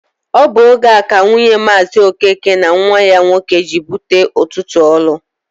Ọ bụ oge a ka nwunye Maazi Okeke na nwa ya nwoke ji wee bute ụtụtụ ọlụ.